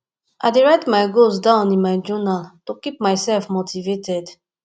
i dey write my goals down in my journal to keep myself motivated